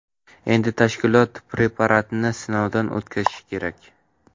Endi tashkilot preparatni sinovdan o‘tkazishi kerak.